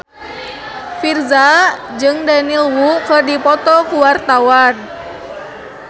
Virzha jeung Daniel Wu keur dipoto ku wartawan